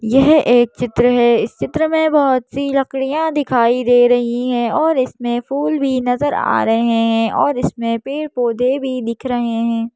यह एक चित्र है इस चित्र में बहोत सी लकड़ियाँ दिखाई दे रही है और इसमें फूल भी नजर आ रहे हैं और इसमें पेड़-पौधे भी दिख रहे हैं।